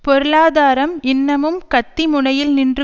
பொருளாதாரம் இன்னமும் கத்தி முனையில் நின்று